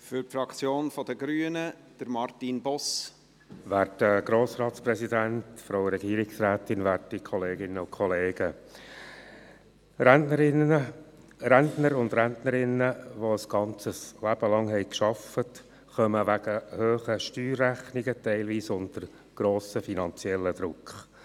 Die Rentner und Rentnerinnen, welche ein Leben lang gearbeitet haben, geraten wegen hohen Steuerrechnungen teilweise unter grossen finanziellen Druck.